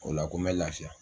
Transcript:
O la ko bɛ lafiya.